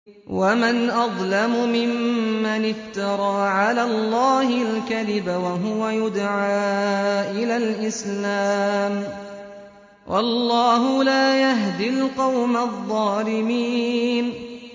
وَمَنْ أَظْلَمُ مِمَّنِ افْتَرَىٰ عَلَى اللَّهِ الْكَذِبَ وَهُوَ يُدْعَىٰ إِلَى الْإِسْلَامِ ۚ وَاللَّهُ لَا يَهْدِي الْقَوْمَ الظَّالِمِينَ